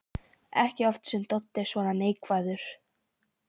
Ekki oft sem Doddi er svona neikvæður.